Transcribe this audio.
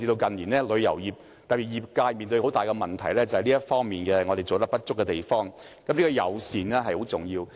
近年旅遊業面對很大的問題，原因便是這方面做得不足夠，友善十分重要。